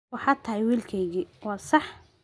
Waxaad tahay wiilkaygii, waa sax.